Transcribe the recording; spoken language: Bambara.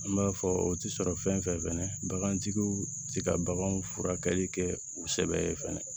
An b'a fɔ o ti sɔrɔ fɛn fɛn bagantigiw tɛ ka baganw furakɛli kɛ u sɛbɛn